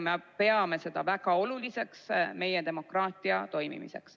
Me peame seda väga oluliseks meie demokraatia toimimiseks.